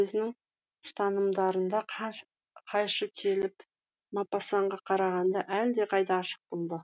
өзінің ұстанымдарына қайшы келіп мопассанға қарағанда әлдеқайда ашық болды